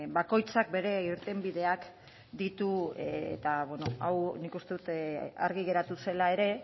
bakoitzak ba bere irtenbideak ditu eta bueno hau nik uste dut argi geratu zela ere